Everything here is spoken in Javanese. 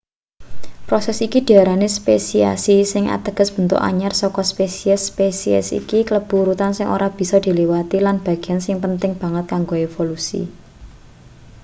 proses iki diarani spesiasi sing ateges bentuk anyar saka spesies spesiasi iki kalebu urutan sing ora bisa diliwati lan bagean sing penting banget kanggo evolusi